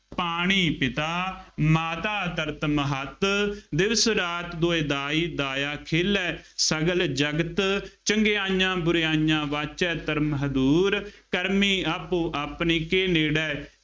ਪਾਣੀ ਪਿਤਾ ਮਾਤਾ ਧਰਤਿ ਮਹਤੁ। ਦਿਵਸੁ ਰਾਤਿ ਦੁਇ ਦਾਈ ਦਾਇਆ ਖੇਲੈ ਸਗਲ ਜਗਤੁ ॥ ਚੰਗਿਆਈਆ ਬੁਰਿਆਈਆ ਵਾਚੈ ਧਰਮੁ ਹਦੂਰਿ। ਕਰਮੀ ਆਪੋ ਆਪਣੀ ਕੇ ਨੇੜੈ